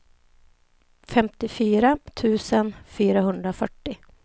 femtiofyra tusen fyrahundrafyrtio